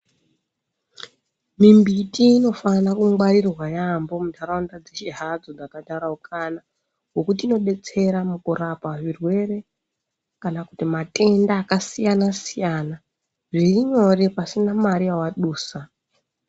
Mimbiti inofana kungwarirwa yaambo muntaraunda dzeshe hadzo dzakataraukana. Ngekuti inobetsera mukurapa zvirwere kana kuti matenda akasiyana-siyana zvirinyore pasina mare yavadusa.